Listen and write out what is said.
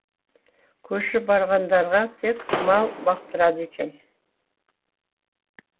көшіп барғандарға тек мал бақтырады екен